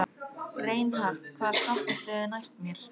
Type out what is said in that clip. Reinhart, hvaða stoppistöð er næst mér?